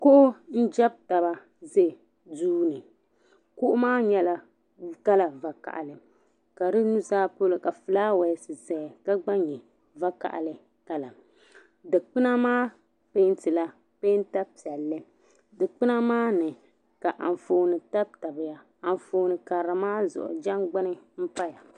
Kuɣu n jab taba. zɛ duuni. kuɣumaa nyɛla kala vakahili ka di nuzaa pɔlɔ ka fulawes zɛya. ka gba nyɛ vakahili dikpuna maa pɛɛntila pɛɛnta piɛli , dikpunamaami. ka anfɔɔni tabtabiya an fɔɔni kara maa zuɣu jangbuni n paya.